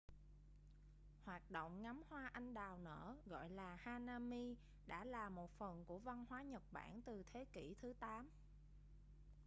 hoạt động ngắm hoa anh đào nở gọi là hanami đã là một phần của văn hóa nhật bản từ thế kỷ thứ 8